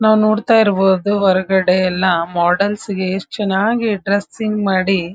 ನಾವ್ ನೋಡ್ತಾ ಇರ್ಬೋದು ಹೊರಗಡೆ ಎಲ್ಲ ಮೋಡೆಲ್ಸ್ ಗೆ ಯೆಸ್ಟ್ ಚೆನ್ನಾಗಿ ಡ್ರೆಸ್ಸಿಂಗ್ ಮಾಡಿ.